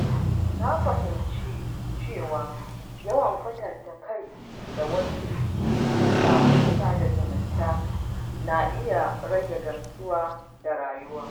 Na fahimci cewa yawan kwatanta kai da wasu a shafukan sada zumunta na iya rage gamsuwa da rayuwa.